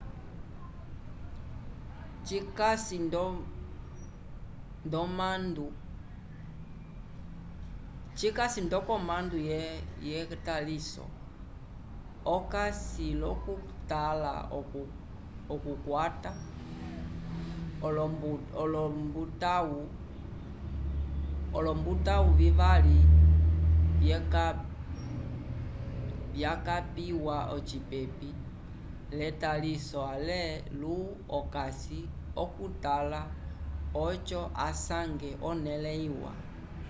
cikasi nd'okomandu yetaliso okasi l'okutala okukwata olombutãwu vivali vyakapiwa ocipepi l'etaliso ale lu-okasi okutala oco asange onẽle iwa